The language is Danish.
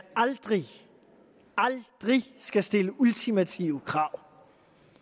aldrig aldrig skal stille ultimative krav